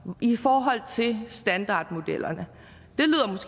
i forhold til standardmodellerne